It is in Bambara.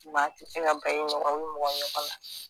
Maa ti se ka ban i mɔgɔ i mɔgɔ ɲɔgɔn na